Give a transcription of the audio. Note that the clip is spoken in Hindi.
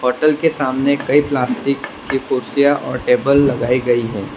होटल के सामने कई प्लास्टिक की कुर्सियां और टेबल लगाई गई है।